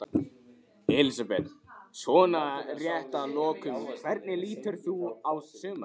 Elísabet: Svona rétt að lokum, hvernig lítur þú á sumarið?